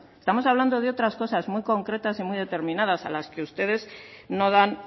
estamos hablando de otras cosas muy concretas y muy determinadas a las que ustedes no dan